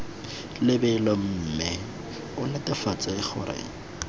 lebelo mme o netefatse gore